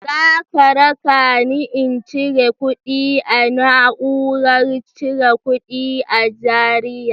Za k rakani in cire kuɗi a na'urar cire kuɗi a Zariya?